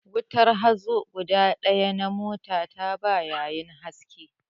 Wutar hazo guda ɗaya na mota ta ba yayin haske